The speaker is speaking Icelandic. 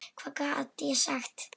Hvað gat ég sagt?